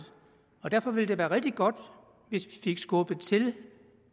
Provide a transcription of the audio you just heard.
og derfor ville det være rigtig godt hvis vi fik skubbet til